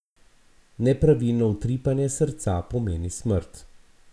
Nepravilno utripanje srca pomeni smrt.